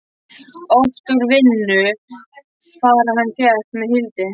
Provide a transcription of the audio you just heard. Oft úr vinnu far hann fékk með Hildi.